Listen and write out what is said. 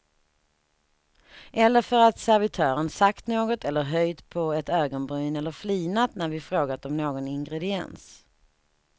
Eller för att servitören sagt något eller höjt på ett ögonbryn eller flinat när vi frågat om någon ingrediens.